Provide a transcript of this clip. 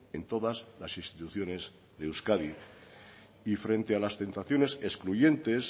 en todas las instituciones de euskadi y frente a las tentaciones excluyentes